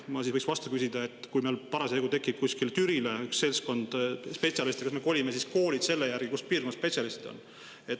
Ma võiks vastu küsida, et kui meil parasjagu tekib kuskile Türile üks seltskond spetsialiste, kas me kolime siis koolid selle järgi, kus piirkonnas spetsialistid on.